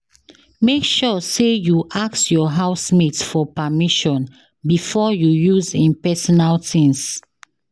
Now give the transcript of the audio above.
Make sure say you ask your housemate for permission before you use in personal things